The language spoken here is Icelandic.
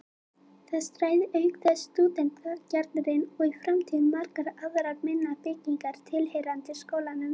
Þar stæði auk þess stúdentagarðurinn og í framtíðinni margar aðrar minni byggingar tilheyrandi skólanum.